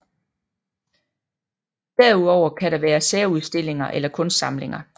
Derudover kan der være særudstillinger eller kunstsamlinger